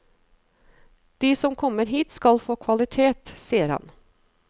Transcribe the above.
De som kommer hit skal få kvalitet, sier han.